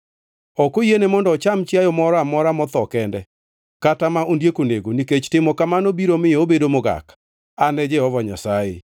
Ok oyiene mondo ocham chiayo moro amora motho kende, kata ma ondiek onego, nikech timo kamano biro miyo obedo mogak. An e Jehova Nyasaye.